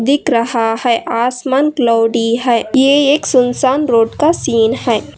दिख रहा है आसमान क्लॉउडी है ये एक सुनसान रोड का सीन है।